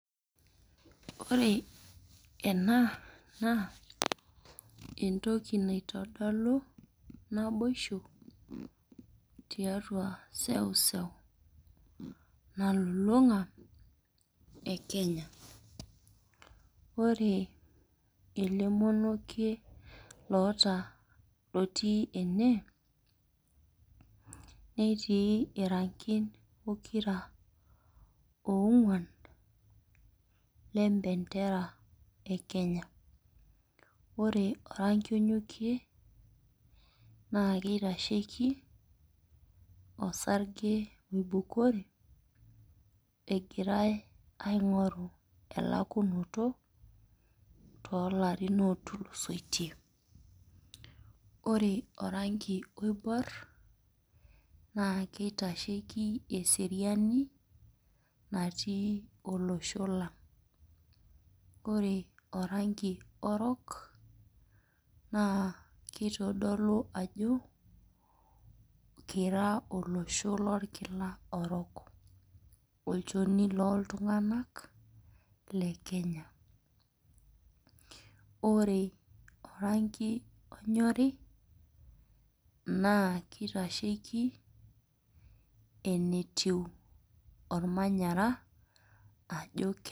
Ore ena naa, entoki naitodolu naboisho tiatua seuseu nalulung'a e Kenya. Ore ele monokie loota lotii ene, netii irankin pokira ong'uan lebendera e Kenya. Ore oranki onyokie, naa kitasheki osarge oibukori egirai aing'oru elakunoto tolarin otulusotie. Ore oranki oibor, naa kitasheki eseriani natii olosho lang'. Ore oranki orok, naa kitodolu ajo kira olosho lorkila orok. Olchoni loltung'anak le Kenya. Ore oranki onyori, naa kitasheki enetiu ormanyara, ajo